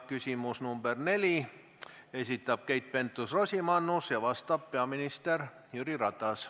Küsimus nr 4, esitab Keit Pentus-Rosimannus ja vastab peaminister Jüri Ratas.